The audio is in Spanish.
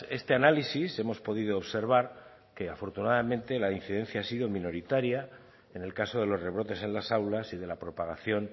este análisis hemos podido observar que afortunadamente la incidencia ha sido minoritaria en el caso de los rebrotes en las aulas y de la propagación